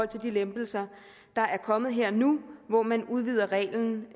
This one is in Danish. de lempelser der er kommet her og nu hvor man udvider reglen